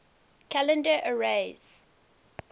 calendar eras